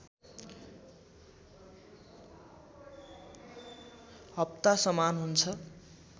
हप्ता समान हुन्छ